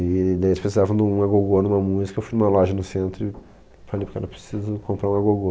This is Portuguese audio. E daí eles precisavam de um agogô numa música, eu fui numa loja no centro e falei para o cara, eu preciso comprar um agogô.